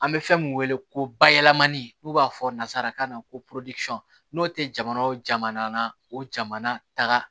An bɛ fɛn min wele ko bayɛlɛmani n'u b'a fɔ nazarakan na ko n'o tɛ jamana o jamana o jamana taga